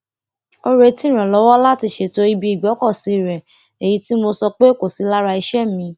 ó retí ìrànlọwọ láti ṣètò ibi ìgbókòsí rẹ èyí tí mo sọ pé kò sí lára iṣé mi